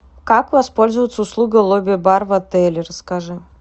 как воспользоваться услугой лобби бар в отеле расскажи